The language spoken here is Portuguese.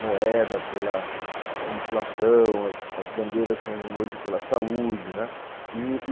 moeda pela inflação, as as bandeiras são um pela saúde, né? i-i